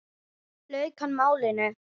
lauk hann málinu.